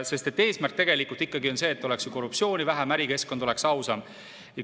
Sest eesmärk on tegelikult ikkagi see, et oleks korruptsiooni vähem ja ärikeskkond oleks ausam.